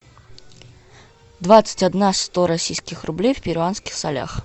двадцать одна сто российских рублей в перуанских солях